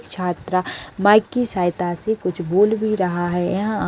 छात्रा माइक की सहायता से कुछ बोल भी रहा है यहाँ--